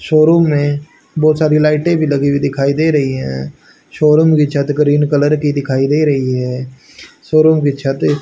showroom में बोहोत सारी लाइटें भी लगी हुई दिखाई दे रही हैं शोरूम की छत ग्रीन कलर की दिखाई दे रही हैं शोरूम की छत --